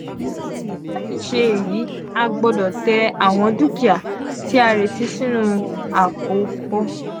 lati ṣe eyi a gbọdọ tẹ awọn dukia ti a reti sinu apopọ.